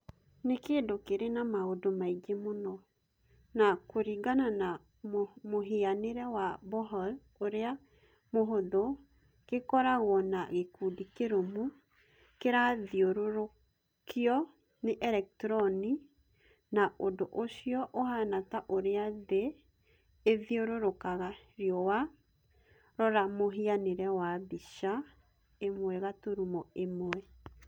Nĩ kĩndũ kĩrĩ na maũndũ maingĩ mũno, na kũringana na mũhianĩre wa Bohr ũrĩa mũhũthũ, kĩkoragwo na gikundi kĩrũmu kĩrathiũrũrũkio nĩ elektroni, na ũndũ ũcio ũhaana ta ũrĩa thĩ ithiũrũrũkaga riũa - rora Mũhianĩre wa mbica 1.1.